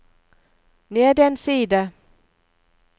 ned en side